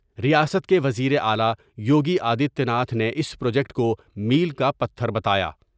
ریاست کے وزیراعلی یوگی آدتیہ ناتھ نے اس پروجیکٹ کومیل کا پتھر بتایا ۔